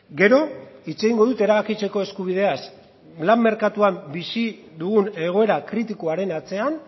gero hitz egingo dut erabakitzeko eskubideaz lan merkatuan bizi dugun egoera kritikoaren atzean